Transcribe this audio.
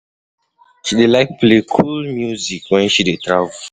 She dey like play cool music wen she dey travel.